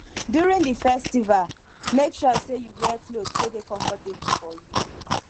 during the festival make sure say you wear cloth wey de comfortable for you